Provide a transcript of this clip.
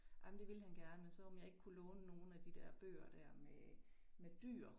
Ej men det ville han gerne, men så om jeg ikke kunne låne nogle af de der bøger der med med dyr